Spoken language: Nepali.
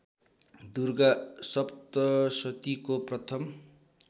दुर्गा सप्तशतीको प्रथम